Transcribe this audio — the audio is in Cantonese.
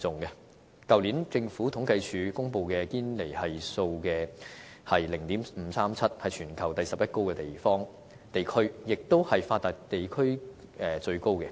去年政府統計處公布的堅尼系數是 0.537， 是全球第十一高的地區，亦是發達地區裏最高的。